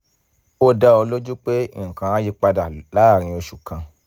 ó dá ọ lójú pé nǹkan á yí padà láàárín oṣù kan